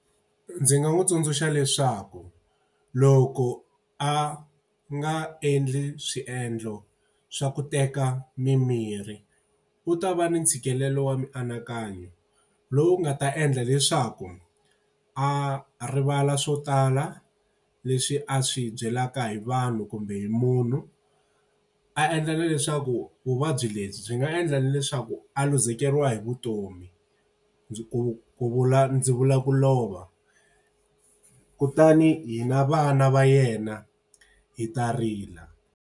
Ndzi nga n'wi tsundzuxa leswaku loko a nga endli swiendlo swa ku teka mimirhi, u ta va ni ntshikelelo wa mianakanyo. Lowu nga ta endla leswaku a rivala swo tala leswi a swi byelaka hi vanhu kumbe hi munhu, a endla na leswaku vuvabyi lebyi byi nga endla na leswaku a luzekeriwa hi vutomi. Ndzi ku ku vula ndzi vula ku lova. Kutani hina vana va yena hi ta rila.